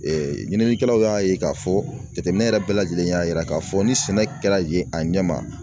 Ee ɲininikɛlaw y'a ye k'a fɔ jateminɛ yɛrɛ bɛɛ lajɛlen y'a jira k'a fɔ ni sɛnɛ kɛra yen a ɲɛ ma